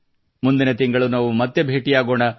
ಮುಂದಿನ ತಿಂಗಳು ನಾವು ಮತ್ತೆ ಭೇಟಿಯಾಗೋಣ